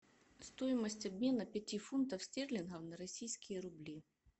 стоимость обмена пяти фунтов стерлингов на российские рубли